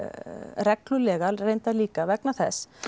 reglulega reyndar líka vegna þess